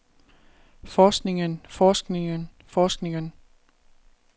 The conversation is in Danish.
forskningen forskningen forskningen